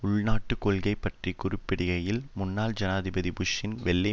உள்நாட்டு கொள்கை பற்றி குறிப்பிடுகையில் முன்னாள் ஜனாதிபதி புஷ்ஷின் வெள்ளை